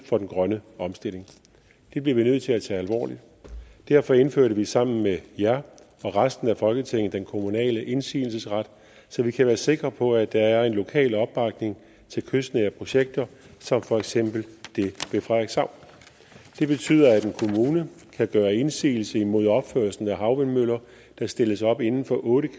for den grønne omstilling det bliver vi nødt til at tage alvorligt derfor indførte vi sammen med jer og resten af folketinget den kommunale indsigelsesret så vi kan være sikre på at der er en lokal opbakning til kystnære projekter som for eksempel det ved frederikshavn det betyder at en kommune kan gøre indsigelse imod opførelsen af havvindmøller der stilles op inden for otte